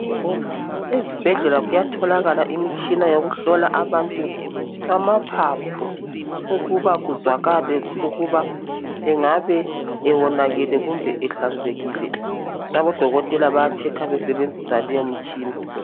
Ezibhedlela kuyatholakala imitshina yokuhlola abantu amaphaphu, ukuba kuzwakale ukuba engabe ewonakele kumbe ehlanzekile. Abodokotela baya-checker besebenzisa leyo mtshina.